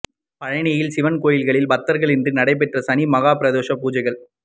பழனியில் சிவன் கோயில்களில் பக்தா்களின்றி நடைபெற்ற சனி மஹாப் பிரதோஷ பூஜைகள்